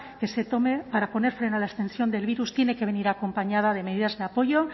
que se tome para poner freno a la extensión del virus tiene que venir acompañada de medidas de apoyo